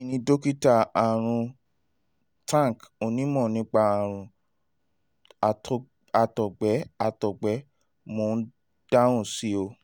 èmi ni dokita arun tank onímọ̀ nípa àrùn àtọ̀gbẹ àtọ̀gbẹ mo ń dáhùn sí ọ